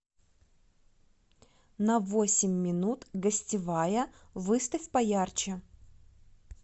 на восемь минут гостевая выставь поярче